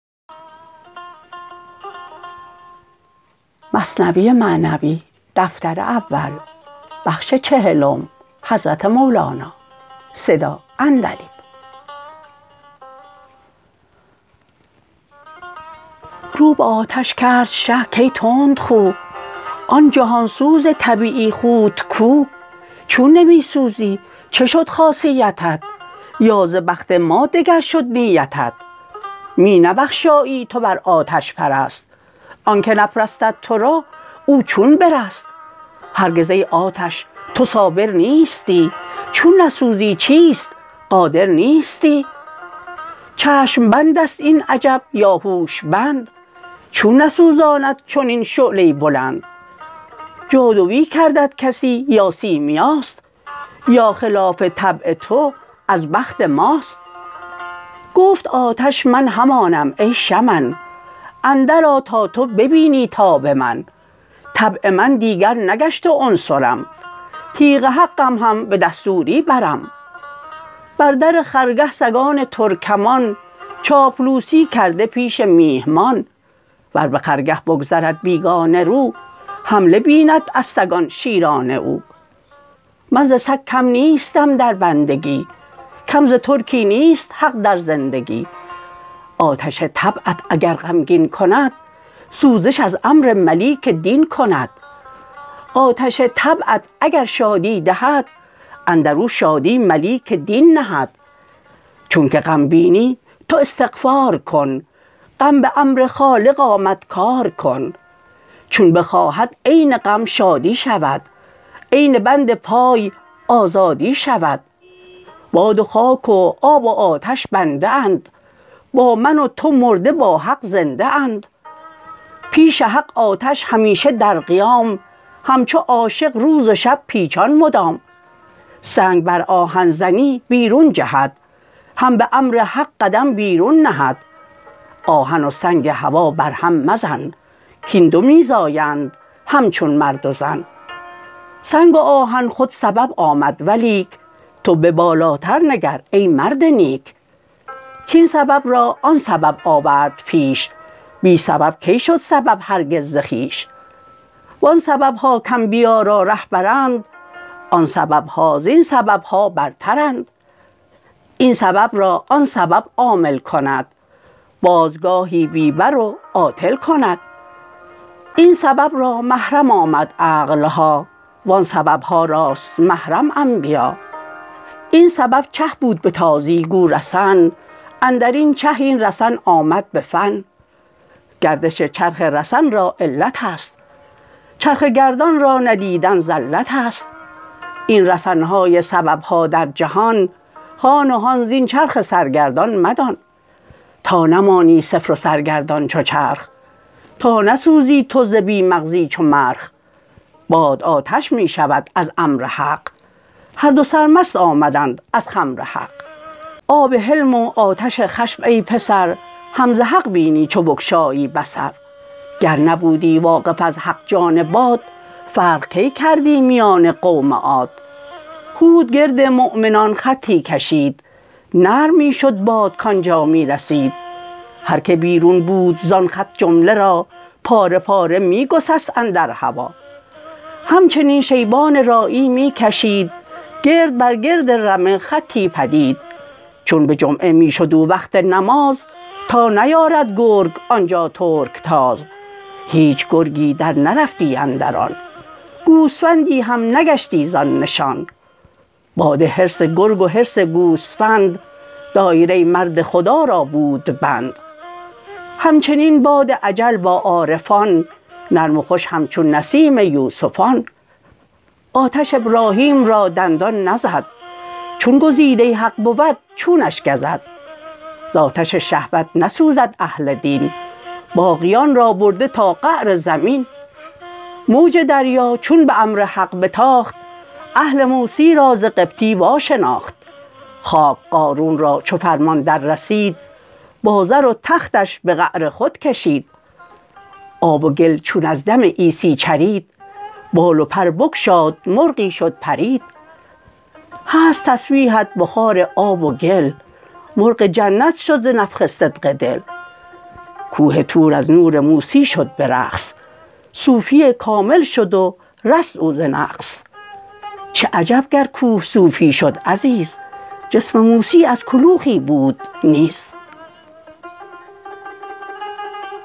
رو به آتش کرد شه کای تندخو آن جهان سوز طبیعی خوت کو چون نمی سوزی چه شد خاصیتت یا ز بخت ما دگر شد نیتت می نبخشایی تو بر آتش پرست آنک نپرستد ترا او چون برست هرگز ای آتش تو صابر نیستی چون نسوزی چیست قادر نیستی چشم بندست این عجب یا هوش بند چون نسوزاند چنین شعله بلند جادوی کردت کسی یا سیمیاست یا خلاف طبع تو از بخت ماست گفت آتش من همانم ای شمن اندر آ تا تو ببینی تاب من طبع من دیگر نگشت و عنصرم تیغ حقم هم به دستوری برم بر در خرگه سگان ترکمان چاپلوسی کرده پیش میهمان ور بخرگه بگذرد بیگانه رو حمله بیند از سگان شیرانه او من ز سگ کم نیستم در بندگی کم ز ترکی نیست حق در زندگی آتش طبعت اگر غمگین کند سوزش از امر ملیک دین کند آتش طبعت اگر شادی دهد اندرو شادی ملیک دین نهد چونک غم بینی تو استغفار کن غم بامر خالق آمد کار کن چون بخواهد عین غم شادی شود عین بند پای آزادی شود باد و خاک و آب و آتش بنده اند با من و تو مرده با حق زنده اند پیش حق آتش همیشه در قیام همچو عاشق روز و شب پیچان مدام سنگ بر آهن زنی بیرون جهد هم به امر حق قدم بیرون نهد آهن و سنگ هوا بر هم مزن کین دو می زایند همچون مرد و زن سنگ و آهن خود سبب آمد ولیک تو به بالاتر نگر ای مرد نیک کین سبب را آن سبب آورد پیش بی سبب کی شد سبب هرگز ز خویش و آن سببها کانبیا را رهبرند آن سببها زین سببها برترند این سبب را آن سبب عامل کند باز گاهی بی بر و عاطل کند این سبب را محرم آمد عقلها و آن سببها راست محرم انبیا این سبب چه بود بتازی گو رسن اندرین چه این رسن آمد به فن گردش چرخه رسن را علتست چرخه گردان را ندیدن زلتست این رسنهای سببها در جهان هان و هان زین چرخ سرگردان مدان تا نمانی صفر و سرگردان چو چرخ تا نسوزی تو ز بی مغزی چو مرخ باد آتش می شود از امر حق هر دو سرمست آمدند از خمر حق آب حلم و آتش خشم ای پسر هم ز حق بینی چو بگشایی بصر گر نبودی واقف از حق جان باد فرق کی کردی میان قوم عاد هود گرد مؤمنان خطی کشید نرم می شد باد کانجا می رسید هر که بیرون بود زان خط جمله را پاره پاره می گسست اندر هوا همچنین شیبان راعی می کشید گرد بر گرد رمه خطی پدید چون به جمعه می شد او وقت نماز تا نیارد گرگ آنجا ترک تاز هیچ گرگی در نرفتی اندر آن گوسفندی هم نگشتی زان نشان باد حرص گرگ و حرص گوسفند دایره مرد خدا را بود بند همچنین باد اجل با عارفان نرم و خوش همچون نسیم یوسفان آتش ابراهیم را دندان نزد چون گزیده حق بود چونش گزد ز آتش شهوت نسوزد اهل دین باقیان را برده تا قعر زمین موج دریا چون به امر حق بتاخت اهل موسی را ز قبطی واشناخت خاک قارون را چو فرمان در رسید با زر و تختش به قعر خود کشید آب و گل چون از دم عیسی چرید بال و پر بگشاد مرغی شد پرید هست تسبیحت بخار آب و گل مرغ جنت شد ز نفخ صدق دل کوه طور از نور موسی شد به رقص صوفی کامل شد و رست او ز نقص چه عجب گر کوه صوفی شد عزیز جسم موسی از کلوخی بود نیز